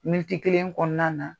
kelen kɔnɔna na,